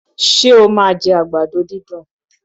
Ṣé o máa jẹ àgbàdo dídùn?